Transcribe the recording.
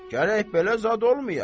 Gərək belə zad olmaya.